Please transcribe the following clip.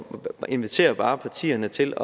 jeg inviterer bare partierne til